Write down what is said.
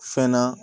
Fɛn na